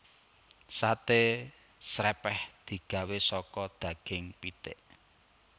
Saté srèpèh digawé saka daging pitik